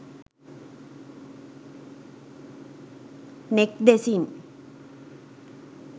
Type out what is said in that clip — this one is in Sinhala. neck desin